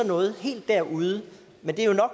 noget helt derude men det er